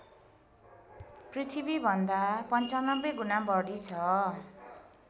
पृथ्वीभन्दा ९५ गुणा बढी छ